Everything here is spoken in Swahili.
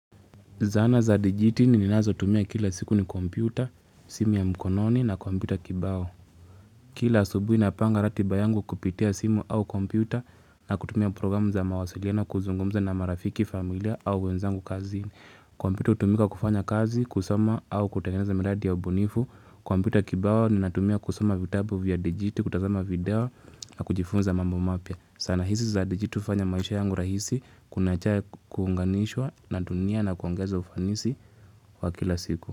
Zana za DiGiti ninazo tumia kila siku ni kompyuta, simu ya mkononi na kompyuta kibao. Kila subuhi napanga ratiba yangu kupitia simu au kompyuta na kutumia programu za mawasiliano kuzungumza na marafiki familia au wenzangu kazi. Kompyuta hutumika kufanya kazi, kusoma au kutengeneza miradi ya ubonifu. Kompyuta kibao ninatumia kusoma vitabu vya DiGiTi, kutazama video na kujifunza mambo mapya. Zana hizi za dijiti hufanya maisha yangu rahisi kuna njia ya kuunganishwa na dunia na kuongeza ufanisi wa kila siku.